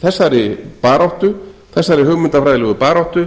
þessari baráttu þessari hugmyndafræðilegu baráttu